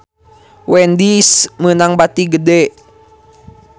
Wendy's meunang bati gede